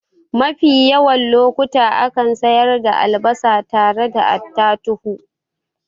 Mafi yawan lokuta akan sayar da albasa tare da attatuhu